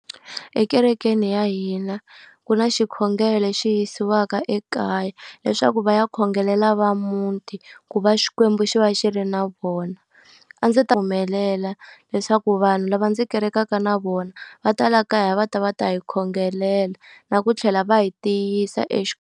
Ekerekeni ya hina ku na xikhongelo lexi yisiwaka ekaya leswaku va ya khongelela va muti, ku va Xikwembu xi va xi ri na vona. A ndzi ta leswaku vanhu lava ndzi kerekaka na vona va ta laha kaya va ta va ta hi khongelela na ku tlhela va hi tiyisa .